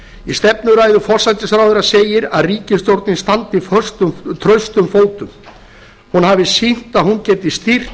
í stefnuræðu forsætisráðherra segir að ríkisstjórnin standi traustum fótum hún hafi sýnt að hún geti stýrt